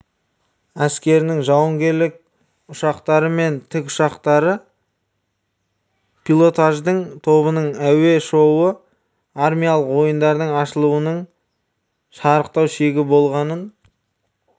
әскерінің жауынгерлік ұшақтары мен тіккұшақтары пилотаждық тобының әуе шоуы армиялық ойындардың ашылуының шарықтау шегі болғанын